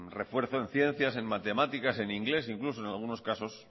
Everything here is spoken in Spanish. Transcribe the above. refuerzo en ciencias en matemáticas en inglés incluso en algunos caso